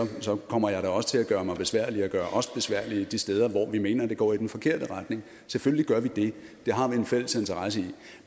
kommer jeg da også til at gøre mig besværlig og gøre os besværlige de steder hvor vi mener det går i den forkerte retning selvfølgelig gør vi det det har vi en fælles interesse i